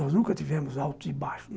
Nós nunca tivemos alto e baixo.